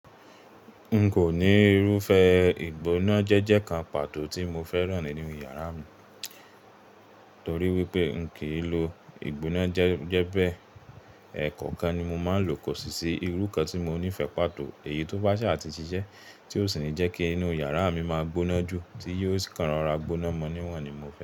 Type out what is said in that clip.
N kò ní irúfẹ́ ìgbóná jẹ́jẹ́ kan pàtó tí mo fẹ́ràn nínú yàrá mi, torí wípé n kì í lo ìgbóná jẹ́jẹ́ bẹ́ẹ̀. Ẹ̀ẹ̀kọ̀kan ni mo máa ń lò kò sì sí irú kan tí mo nífẹ̀ẹ́ pàtó. Èyí tó bá ṣà àti ṣiṣẹ́, tí ó sì ní jẹ́ kí inú yàrá mi máa gbóná jù tí yóò sì kan ara gbóná mọ́ níwọ̀n ni mo fẹ́.